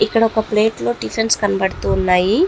ఇక్కడ ఒక ప్లేట్ లో టిఫిన్స్ కనబడుతూ ఉన్నాయి.